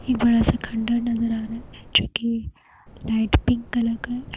एक बड़ा सा खंडहर नजर आ रहा है। जो की लाइट पिंक कलर का है।